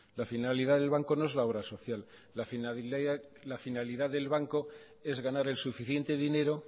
la finalidad del banco no es la obra social la finalidad del banco es ganar el suficiente dinero